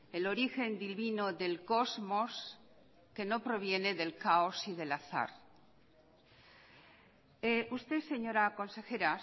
el origen divino del cosmos que no proviene del caos y del azar usted señora consejera